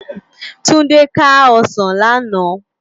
Tunde ká òsán làná